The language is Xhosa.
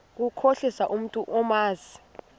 ukukhohlisa umntu omazi